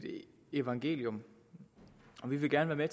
evangelium vi vil gerne være